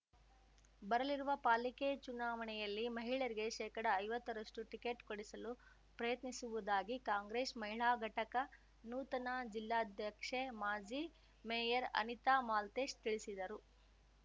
ಬರಲಿರುವ ಪಾಲಿಕೆ ಚುನಾವಣೆಯಲ್ಲಿ ಮಹಿಳೆಯರಿಗೆ ಶೇಕಡಐವತ್ತರಷ್ಟು ಟಿಕೆಟ್‌ ಕೊಡಿಸಲು ಪ್ರಯತ್ನಿಸುವುದಾಗಿ ಕಾಂಗ್ರೆಸ್‌ ಮಹಿಳಾ ಘಟಕ ನೂತನ ಜಿಲ್ಲಾಧ್ಯಕ್ಷೆ ಮಾಜಿ ಮೇಯರ್‌ ಅನಿತಾ ಮಾಲ್ತೇಶ್‌ ತಿಳಿಸಿದರು